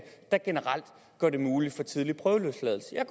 der generelt gør det muligt at få tidlig prøveløsladelse jeg